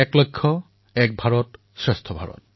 এক লক্ষ্য এক ভাৰত শ্ৰেষ্ঠ ভাৰত